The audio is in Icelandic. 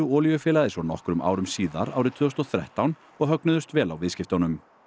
olíufélagið svo nokkrum árum síðar árið tvö þúsund og þrettán og högnuðust vel á viðskiptunum